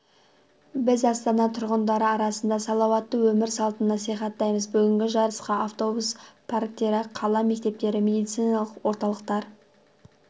біз астана тұрғындары арасында салауатты өмір салтын насихаттаймыз бүгінгі жарысқа автобус парктері қала мектептері медициналық орталықтар